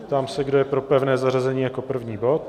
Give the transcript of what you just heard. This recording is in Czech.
Ptám se, kdo je pro pevné zařazení jako první bod.